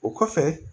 O kɔfɛ